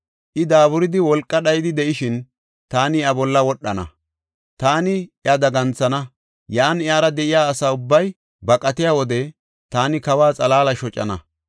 I daaburidi wolqa dhayidi de7ishin taani iya bolla wodhana. Taani iya daganthana; yan iyara de7iya asa ubbay baqatiya wode taani kawa xalaala shocana.